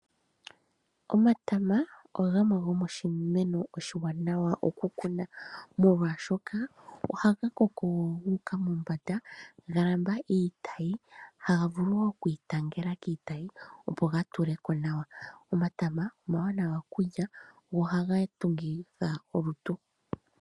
Omatama ogamwe go miimeno oma waanawa oku kuna, molwaashoka oha ga koko gu uka mombanda ga lambalala iitayi. Oha ga vulu woo okwii tangela kiitayi opo ga tule ko nawa. Omatama oma wanawa kulya, go oha ga tungitha olutu.